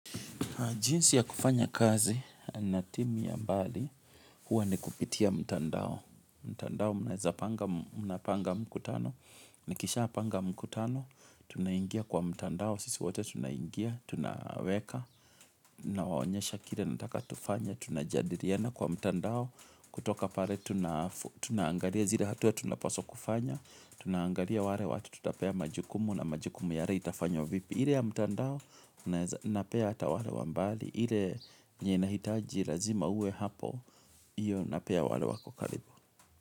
Jinsi ya kufanya kazi na timu ya mbali, huwa ni kupitia mitandao. Mtandao mnaweza panga mnapanga mkutano, nikisha panga mkutano, tunaingia kwa mtandao, sisi wote tunaingia, tunaweka, naonyesha kire nataka tufanye tuna jadiriana kwa mtandao, kutoka pare tuna tunaangaria zile hatua ya tunaposwa kufanya, tunaangalia ware watu tutapea majukumu na majukumu yare itafanywa vipi. Ile ya mtandao naeza napea hata wale wa mbali ile nye nahitaji razima uwe hapo Iyo napea wale wako karibu.